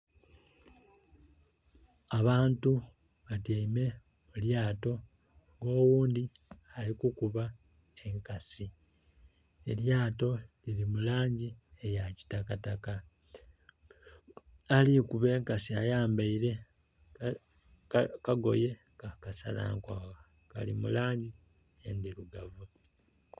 Abantu batyaime mu lyato nga oghundhi ali kukuba enkasi, elyato liri mu langi eya kitakataka. Ali kukuba enkasi ayambaile akagoye ka kasala nkwagha, kali mu langi endhirugavu.